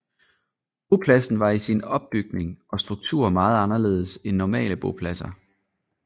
Bopladsen var i sin opbygning og struktur meget anderledes end normale bopladser